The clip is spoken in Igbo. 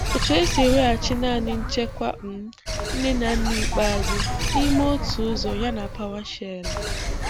Otu esi eweghachi naanị nchekwa um nne na nna ikpeazụ n'ime otu ụzọ ya na PowerShell?